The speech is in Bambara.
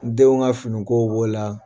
Denw ka fini kow b'ɔ la.